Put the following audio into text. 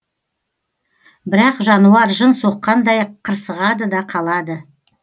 бірақ жануар жын соққандай қырсығады да қалады